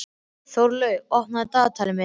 Þórlaug, opnaðu dagatalið mitt.